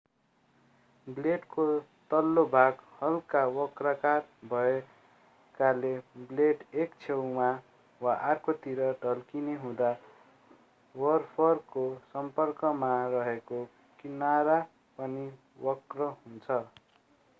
ब्लेडको तल्लो भाग हल्का वक्राकार भएकाले ब्लेड एक छेउमा वा अर्कोतिर ढल्किने हुँदा बरफको सम्पर्कमा रेहेको किनरा पनि वक्र हुन्छ